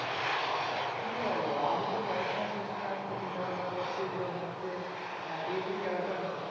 কি বোলো আমি তো পড়াশোনা শেষ করে আমি তো চিন্তা ভাবনা করছি যে হচ্ছে আহ agriculture